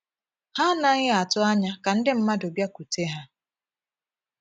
Ha anaghị atụ anya ka ndị mmadụ bịakwute ha.